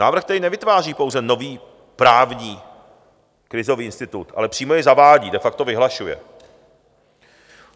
Návrh tedy nevytváří pouze nový právní krizový institut, ale přímo jej zavádí, de facto vyhlašuje.